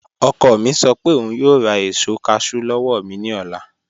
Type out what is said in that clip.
Ọkọ̀ mi sọ pé ọún yòò rá èṣò cashew lọ́wọ́ mi ni ọlá